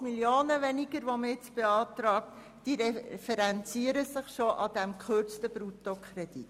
Diese weniger beantragten 80 Mio. Franken referenzieren sich bereits an diesem gekürzten Bruttokredit.